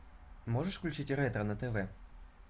можешь включить ретро на тв